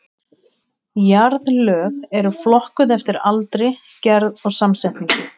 Jarðlög eru flokkuð eftir aldri, gerð og samsetningu.